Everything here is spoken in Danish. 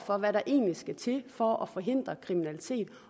om hvad der egentlig skal til for at forhindre kriminalitet